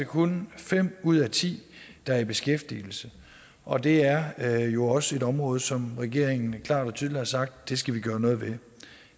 kun fem ud af ti der er i beskæftigelse og det er er jo også et område som regeringen klart og tydeligt har sagt at vi skal gøre noget ved